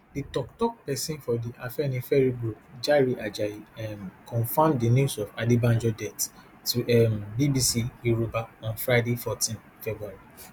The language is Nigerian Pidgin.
di tok tok pesin for di afenifere group jare ajayi um confam di news of adebanjo death to um bbc yoruba on friday fourteen february